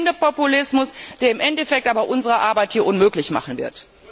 Es ist der blinde Populismus, der im Endeffekt aber unsere Arbeit hier unmöglich machen wird.